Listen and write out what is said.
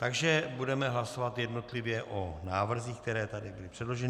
Takže budeme hlasovat jednotlivě o návrzích, které tady byly předloženy.